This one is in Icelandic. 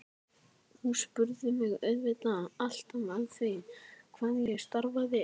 Þær spurðu mig auðvitað alltaf að því hvað ég starfaði.